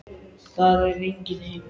Það er enginn heima.